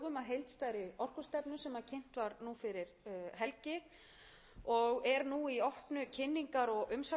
í drögum að heildstæðri orkustefnu sem kynnt var nú fyrir helgi og er nú í opnu kynningar og umsagnaferli og